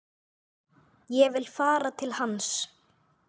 Ég vil fara til hans.